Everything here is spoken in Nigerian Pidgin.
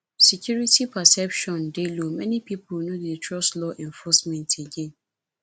security perception dey low many pipo no dey trust law enforcement again